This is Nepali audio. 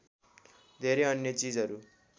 धेरै अन्य चिजहरू